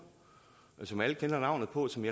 tusind